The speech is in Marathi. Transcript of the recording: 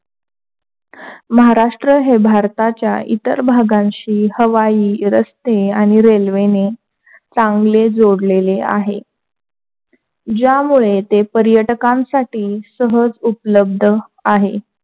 महाराष्ट्र हे भारताच्या इतर भागांशी हवाई रस्ते आणि रेल्वेने चांगले जोडलेले आहेत, ज्यामुळे ते पर्यटकांसाठी सहज उपलब्ध आहे.